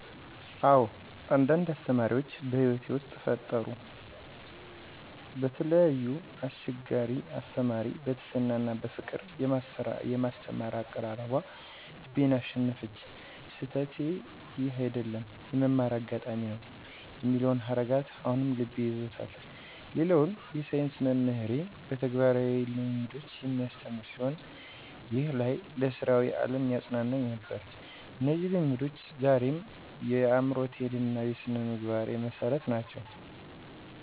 አዎ፣ አንዳንድ አስተማሪዎች በሕይወቴ ውስጥ ፈጠሩ። በተለይ አስችገርቻ አስተማሪዬ በትሕትና እና በፍቅር የማስተማር አቀራረቧ ልቤን አሸነፈች። "ስህተትህ ይህ አይደለም፣ የመማር አጋጣሚ ነው" የሚለው ሀረጋት አሁንም ልቤንም ይዞታል። ሌላውን የሳይንስ መምህሬ በተግባራዊ ልምሶች የሚያስተምር ሲሆን፣ ይህም ለይ ለሥራዊ ዓለም ያጸናኝ ነበር። እነዚህ ልምዶች ዛሬም የምሮቴን እና የስነምግባሬን መሠረት ናቸው።